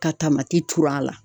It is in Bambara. Ka tur'a la.